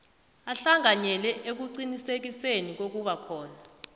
ahlanganyele ekuqinisekiseni kokubakhona